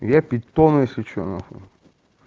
я питон если что на хуй